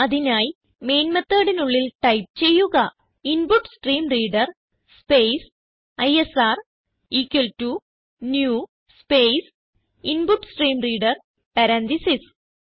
അതിനായി മെയിൻ methodനുള്ളിൽ ടൈപ്പ് ചെയ്യുക input stream reader space ISR equal to new space input stream reader parenthesis